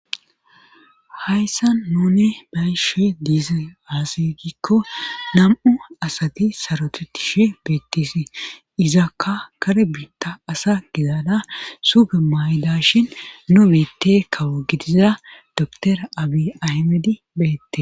Hayssan nuni bayishe diize aasigikko nam'u asati sarotetishe beettisi izakka kare biitta asa gidada suge mayda shin nu beette kawo gidiza doora abi ahmedi beette.